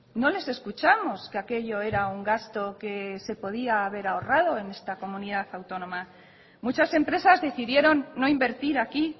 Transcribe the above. no les escuchamos que aquello era un gasto que se podía haber ahorrado en esta comunidad autónoma muchas empresas decidieron no invertir aquí